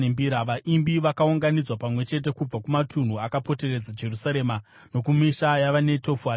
Vaimbi vakaunganidzwa pamwe chete kubva kumatunhu akapoteredza Jerusarema, nokumisha yavaNetofati;